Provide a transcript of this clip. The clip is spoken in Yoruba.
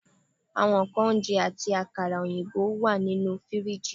Awọn nkan ounjẹ, ati akara oyinbo wa ninu firiji